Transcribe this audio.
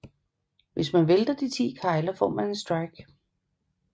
Hvis man vælter de ti kegler får man en strike